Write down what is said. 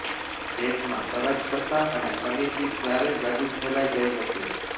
દેશમાં અરાજકતા અને અનીતિ ચારે બાજુ ફેલાઈ ગઈ હતી